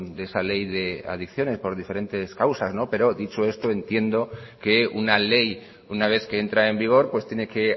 de esa ley de adiciones por diferentes causas pero dicho esto entiendo que una ley una vez que entra en vigor pues tiene que